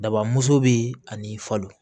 Daba muso be ani falo